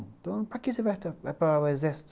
Então para que você vai para o exército?